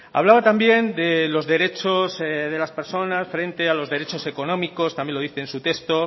hablaba también de los derechos de las personas frente a los derechos económicos también lo dice en su texto